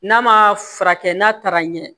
N'a ma furakɛ n'a taara ɲɛ